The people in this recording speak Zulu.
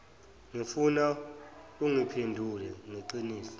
ngifuna ungiphendule ngeqiniso